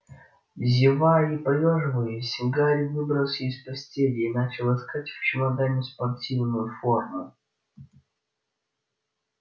зевая и поёживаясь гарри выбрался из постели и начал искать в чемодане спортивную форму